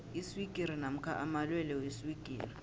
iswigiri namkha amalwelwe weswigiri